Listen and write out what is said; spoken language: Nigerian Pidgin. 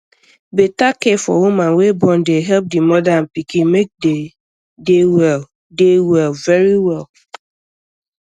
beta care for woman way born dey help di moda and pikin make dey dey well dey well verywell